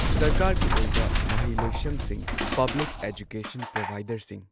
ꯁꯔꯀꯥꯔꯒꯤ ꯑꯣꯏꯕ ꯃꯍꯩ ꯂꯣꯏꯁꯪꯁꯤꯡ ꯄꯕ꯭ꯂꯤꯛ ꯑꯦꯖꯨꯀꯦꯁꯟ ꯄ꯭ꯔꯣꯚꯥꯏꯗꯔꯁꯤꯡ